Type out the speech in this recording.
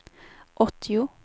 åttio